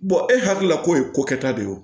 e hakilila k'o ye ko kɛta de ye o